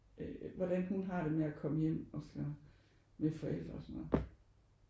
Øh hvordan hun har det med at komme hjem og så med forældre og sådan noget